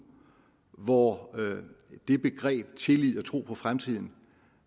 hvor begreberne tillid og tro på fremtiden